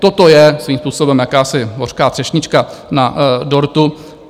Toto je svým způsobem jakási hořká třešnička na dortu.